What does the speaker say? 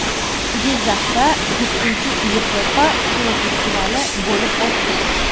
Jizzaxda VII Yevropa kinofestivali bo‘lib o‘tdi.